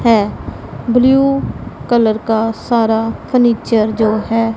है blue colour का सारा फर्नीचर जो है।